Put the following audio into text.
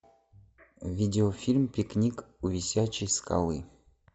видеофильм пикник у висячей скалы